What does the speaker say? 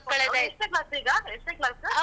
ಅವ್ಳ್ ಎಷ್ಟ್ನೇ class ಈಗ? ಎಷ್ಟ್ನೇ class ಉ?